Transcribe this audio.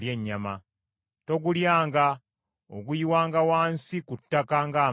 Togulyanga; oguyiwanga wansi ku ttaka ng’amazzi.